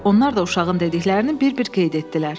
Onlar da uşağın dediklərini bir-bir qeyd etdilər.